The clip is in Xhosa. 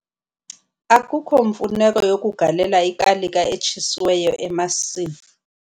Akukho mfuneko yokugalela ikalika etshisiweyo emasimini.